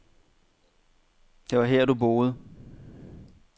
Det var her du boede.